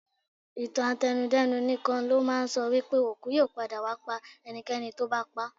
Ìtàn àtẹnu-dẹ́nu nìkan ló máa ń sọ wípé òkú yóò padà wá pa ẹnikẹ́ni tó bá pa á.